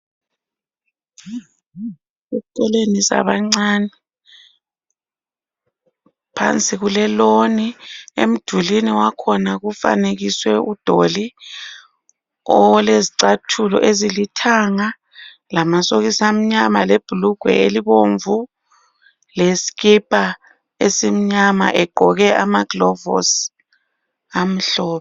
Eskolweni sabancani. Phansi kuleloni, emdulini wakhona kufanekiswe udoli olezicathulo ezilithanga lamasokisi amnyama, lebhulugwe elibomvu leskipa esimnyama egqoke amaglovusi amhlophe.